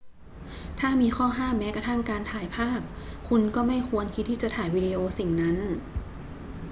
ถ้ามีข้อห้ามแม้กระทั่งการถ่ายภาพ คุณก็ไม่ควรคิดที่จะถ่ายวิดีโอสิ่งนั้น